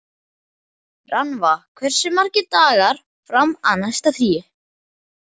Rannva, hversu margir dagar fram að næsta fríi?